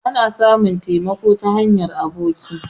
Ana samun taimako ta hanyar aboki